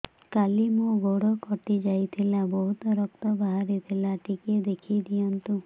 କାଲି ମୋ ଗୋଡ଼ କଟି ଯାଇଥିଲା ବହୁତ ରକ୍ତ ବାହାରି ଥିଲା ଟିକେ ଦେଖି ଦିଅନ୍ତୁ